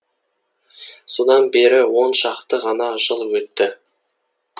содан бері он шақты ғана жыл өтті